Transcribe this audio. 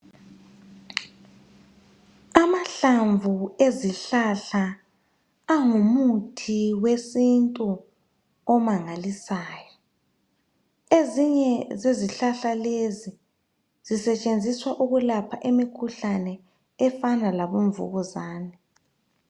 Amahlamvu ezihlahla angumuthi wesintu omangalisayo. Ezinye zezihlahla lezi sisetshenziswa ukulapha imikhuhlane efana labomvukuzane